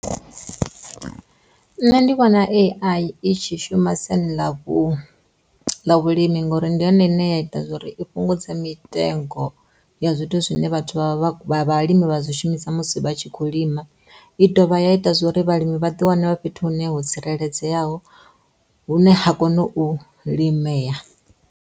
Nṋe ndi vhona AI itshi shuma ḽa vhulimi ngori ndi yone ine ya ita zwori i fhungudze mitengo ya zwithu zwine vha ḓo vhalimi vha zwi shumisa musi vha tshi kho lima i dovha ya ita zwa uri vhalimi vha ḓi wane vha fhethu hune ho tsireledzeaho hune ha kone u limea.